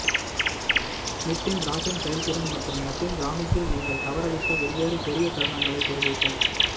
ஸ்மித்தின் rocking செயல்திறன் மற்றும் Latin கிராமிஸில் நீங்கள் தவறவிட்ட வெவ்வேறு பெரிய தருணங்களைப் பெறுவீர்கள்